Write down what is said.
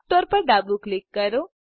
Cooktorrપર ડાબું ક્લિક કરો